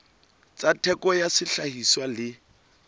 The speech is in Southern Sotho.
tsa theko ya sehlahiswa le